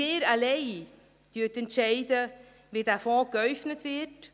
Sie alleine entscheiden, wie dieser Fonds geäufnet wird.